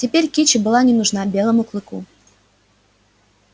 теперь кичи была не нужна белому клыку